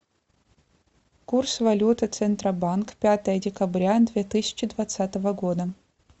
курс валюты центробанк пятое декабря две тысячи двадцатого года